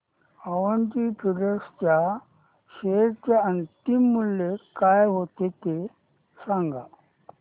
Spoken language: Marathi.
अवंती फीड्स च्या शेअर चे अंतिम मूल्य काय होते ते सांगा